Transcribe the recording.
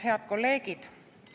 Head kolleegid!